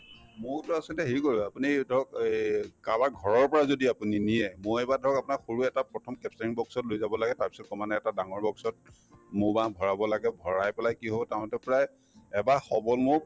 মৌতো আচলতে হেৰি কৰা হয় আপুনি ধৰক এই কাৰোবাৰ ঘৰৰ পৰা যদি আপুনি নিয়ে মৌয়ে ধৰক আপোনাৰ সৰু এটা প্ৰথম capturing box ত লৈ যাব লাগে তাৰপিছত ক্ৰমান্বয়ে এটা ডাঙৰ box ত মৌ বাহ ভৰাব লাগে ভৰাই পেলাই কি হব তাহাতৰ প্ৰায় এবাহ সবল মৌক